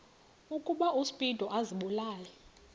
ukuba uspido azibulale